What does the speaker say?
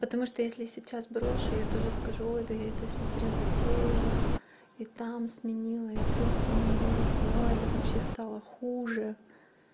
потому что если сейчас брошу я тоже скажу да я это всё зря затеяла и там сменила и тот сменила ой да вообще стало хуже